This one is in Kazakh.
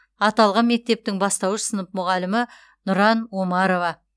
аталған мектептің бастауыш сынып мұғалімі нұран омарова